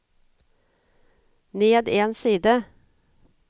ned en side